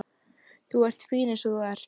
Þú ert fín eins og þú ert.